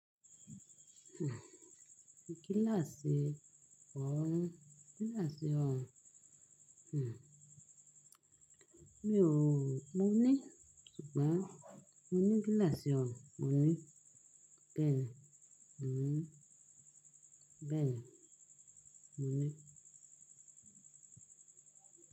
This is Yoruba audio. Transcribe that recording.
Kíláàsì ọ̀hùn, kíláàsì ọ̀hùn. Hmh. Mi ò, mo ní, ṣùgbọ́n mo ní kíláàsì ọ̀hùn, mo ní bẹ́ẹ̀ni. Hmh. Bẹ́ẹ̀ni, mo ní.